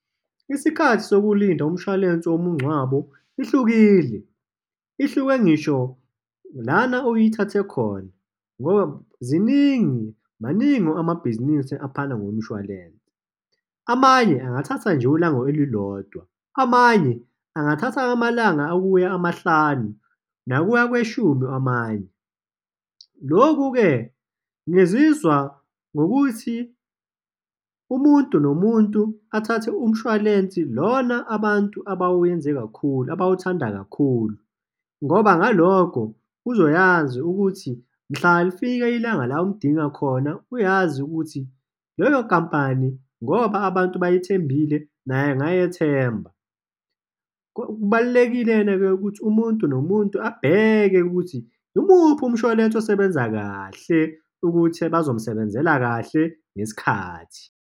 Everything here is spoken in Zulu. Isikhathi sokulinda umshwalense womngcwabo ihlukile, ihluke ngisho lana uyithathe khona, ngoba ziningi, maningi amabhizinisi aphana ngomshwalense. Amanye angathatha nje ulanga olulodwa, amanye angathatha amalanga okuya amahlanu nakuya kweshumi amanye. Lokhu-ke, ngizizwa ngokuthi umuntu nomuntu athathe umshwalensi lona abantu abawenze kakhulu, abawuthanda kakhulu, ngoba ngalokho uzoyazi ukuthi mhla lifika ilanga la uwudinga khona, uyazi ukuthi leyo nkampani, ngoba abantu bayithembile, naye angayethemba. Kubalulekile-ke ukuthi umuntu nomuntu abheke ukuthi imuphi umshwalense osebenza kahle ukuthi bazomsebenzela kahle, ngesikhathi.